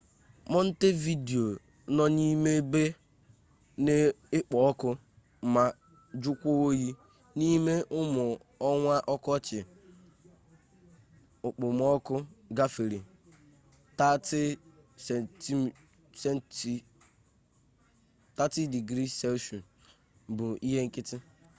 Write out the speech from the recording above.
montevideo nọ n'ime ebe na-ekpọ ọkụ ma jụọkwa oyi; n'ime ụmụ ọnwa ọkọchị okpomọkụ gafere +30°c bụ ihe nkịtị